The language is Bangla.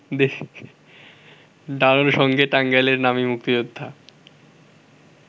ডানোর সঙ্গে টাঙ্গাইলের নামী মুক্তিযোদ্ধা